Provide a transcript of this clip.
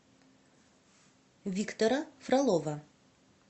виктора фролова